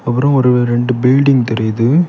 ஒரு ஒரு ரெண்டு பில்டிங் தெரியுது.